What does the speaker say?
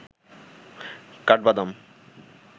কাঠবাদাম